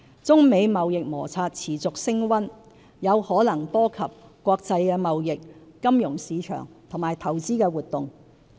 中美貿易摩擦持續升溫，有可能波及國際貿易、金融市場和投資活動。